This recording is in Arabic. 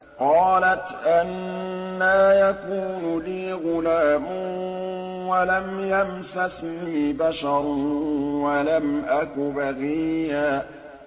قَالَتْ أَنَّىٰ يَكُونُ لِي غُلَامٌ وَلَمْ يَمْسَسْنِي بَشَرٌ وَلَمْ أَكُ بَغِيًّا